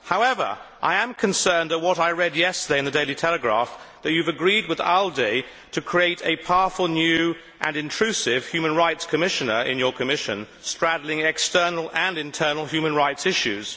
However, I am concerned at what I read yesterday in the Daily Telegraph that he has agreed with the ALDE Group to create a powerful new and intrusive Human Rights Commissioner in his Commission, straddling external and internal human rights issues.